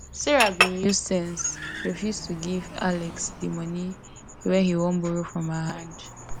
sarah bin use sense refuse to give alex di money wey he wan borrow from her hand